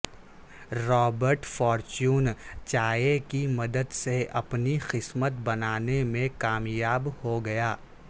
Robert Fortune چائے کی مدد سے اپنی قسمت بنانے میں کامیاب ہو گیا